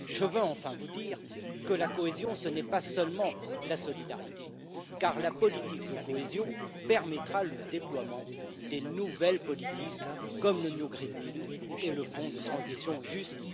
Enfin, je tiens à dire que la cohésion, ce n'est pas seulement la solidarité, car la politique de cohésion permettra le déploiement des nouvelles politiques comme le nouveau pacte vert et le fonds de transition juste.